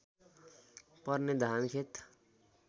पर्ने धान खेत